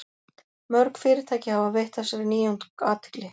mörg fyrirtæki hafa veitt þessari nýjung athygli